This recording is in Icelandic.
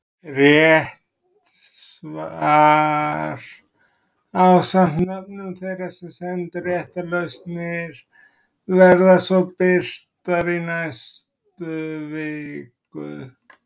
Rétt svar ásamt nöfnum þeirra sem sendu réttar lausnir verða svo birt í næstu viku.